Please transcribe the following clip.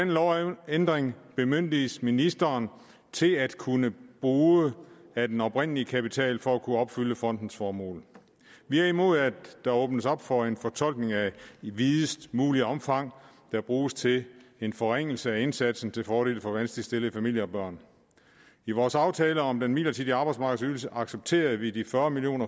lovændring bemyndiges ministeren til at kunne bruge af den oprindelige kapital for at kunne opfylde fondens formål vi er imod at der åbnes op for en fortolkning af i videst muligt omfang der bruges til en forringelse af indsatsen til fordel for vanskeligt stillede familier og børn i vores aftale om den midlertidige arbejdsmarkedsydelse accepterede vi de fyrre million